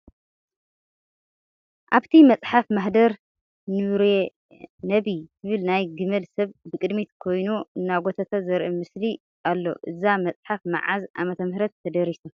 ሓብቲ መፅሓፍ ማህደር ኑረነቢ ትብል ናይ ግመል ሰብ ብቅድሚት ኮይኑ እናጎተታ ዘርኢ ምስሊ ኣሎ እዛ መፅሓፍ መዓዝ ዓ/ም ተደሪሳ ?